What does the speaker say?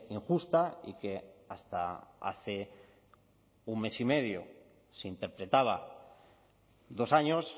injusta y que hasta hace un mes y medio se interpretaba dos años